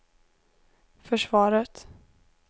försvaret